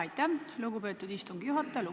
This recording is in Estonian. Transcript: Aitäh, lugupeetud istungi juhataja!